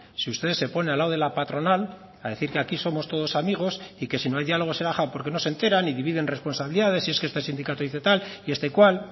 si ustedes se ponen al lado de la patronal a decir que aquí somos todos amigos y que si no hay diálogo será porque no se enteran y dividen responsabilidades y es que este sindicato dice tal y este cual